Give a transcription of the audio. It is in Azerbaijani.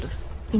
Bax budur.